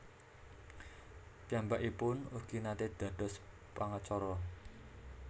Piyambakipun ugi naté dados pangacara